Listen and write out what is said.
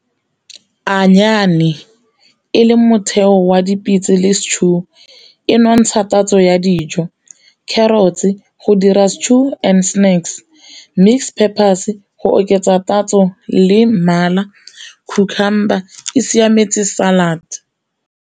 e le motheo wa dipitse le stew e nontsha tatso ya dijo, carrots go dira stew and snacks, mix peppers go oketsa tatso le mmala, cucumber e siametse salad.